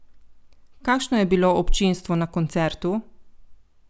Kakšno je bilo občinstvo na koncertu?